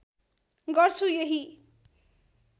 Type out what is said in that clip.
गर्छु यही